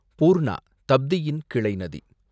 பூர்ணா, தப்தியின் கிளை நதி